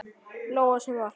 Lóa: Sem var?